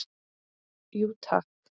Jú takk!